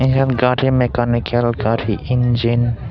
eote gari mekanikal gari injin.